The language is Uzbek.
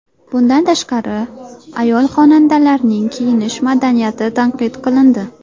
Bundan tashqari, ayol-xonandalarning kiyinish madaniyati tanqid qilindi.